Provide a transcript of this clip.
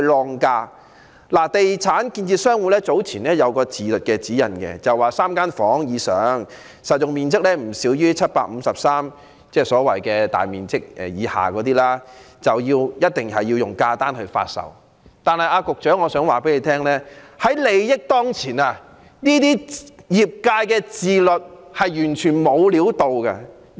香港地產建設商會早前發出一項自律指引，訂明3房以上、實用面積不少於753平方呎——即所謂大面積以下的住宅——一定要以價單形式發售，但我想告訴局長，利益當前，這種業界自律是完全沒有作用的。